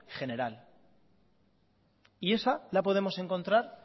general y esa la podemos encontrar